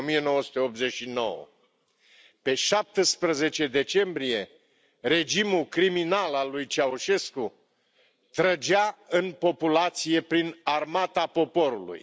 1989. Pe 17 decembrie, regimul criminal al lui Ceaușescu trăgea în populație prin Armata poporului.